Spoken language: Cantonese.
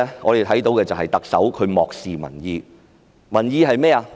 我們看到特首漠視民意，民意是甚麼呢？